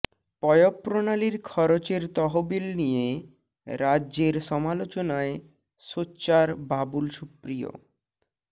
পয়ঃপ্রণালীর খরচের তহবিল নিয়ে রাজ্যের সমালোচনায় সোচ্চার বাবুল সুপ্রিয়